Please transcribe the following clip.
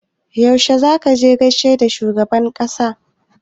Yaushe za ka gaishe da shugaban ƙasa?